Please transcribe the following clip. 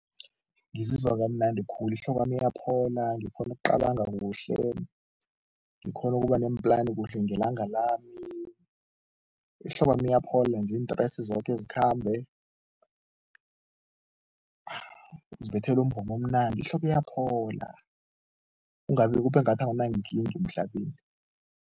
Ngizizwa kamnandi khulu, ihlokwami iyaphola, ngikghone ukucabanga kuhle, ngikghone ukuba neemplani kuhle ngelanga lami, ihloko wami iyaphola nje, iintresi zoke zikhambe, ngizibethela umvumo omnandi, ihloko iyaphola kungabi kube ngathi anginankinga emhlabeni.